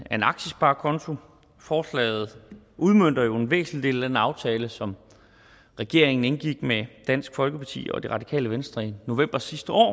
af en aktiesparekonto forslaget udmønter jo en væsentlig del af den aftale som regeringen indgik med dansk folkeparti og det radikale venstre i november sidste år